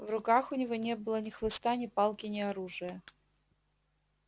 в руках у него не было ни хлыста ни палки ни оружия